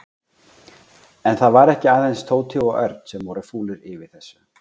En það voru ekki aðeins Tóti og Örn sem voru fúlir yfir þessu.